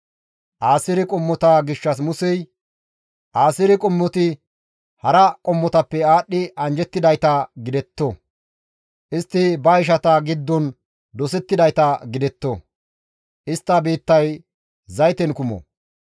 Aaseere qommota gishshas Musey, «Aaseere qommoti hara qommotappe aadhdhi anjjettidayta gidetto; istti ba ishata giddon dosettidayta gidetto; istta biittay zayten kumo.